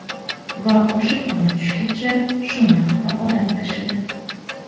Va o‘sha kuni tushgacha shu narxda odam tashidi.